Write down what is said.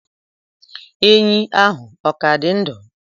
enyí ahụ ọ ka dị ndụ?